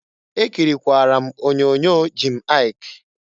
Ekirikwara m onyoonyo Jim Aịk.